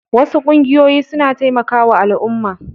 Wasu ƙungiyoyin suna taimakawa al'umma.